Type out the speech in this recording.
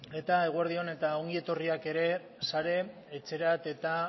eta eguerdi on eta ongietorriak ere sare etxerat eta